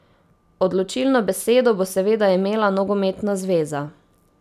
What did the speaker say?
Odločilno besedo bo seveda imela nogometna zveza.